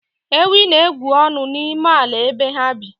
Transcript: Ewii na-egwu ọnụ n'ime ala ebe ha bi